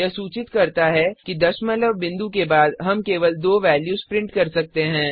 यह सूचित करता है कि दशमलव बिंदुडेसिमल पॉइंट के बाद हम केवल दो वेल्यूज प्रिंट कर सकते हैं